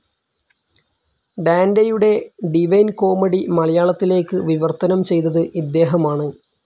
ഡാൻ്റെയുടെ divine comedy മലയാളത്തിലേക്ക് വിവർത്തനം ചെയ്തത് ഇദ്ദേഹമാണ്.